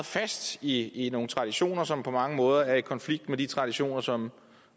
fast i nogle traditioner som på mange måder er i konflikt med de traditioner som